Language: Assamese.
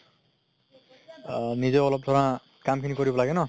আ নিজে অলপ ধৰা কাম খিনি কৰিব লাগে ন